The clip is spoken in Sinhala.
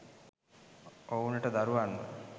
ඔවුනට දරුවන්ව